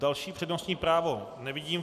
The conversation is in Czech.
Další přednostní právo nevidím.